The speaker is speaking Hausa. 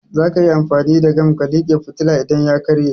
Zaka iya amfani da gam ka like fitilan idan ya karye